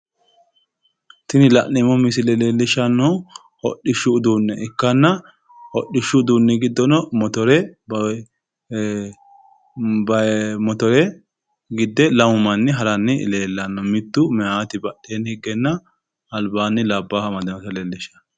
Tini la'neemmo misile leellishannohu hodhishshu uduunne ikkanna hodhishshu uduunni giddono motore gidde lamu manni haranni leellanno mittu meyaati badheenni higgenna albaanni labbaahu amadinota leellishshanno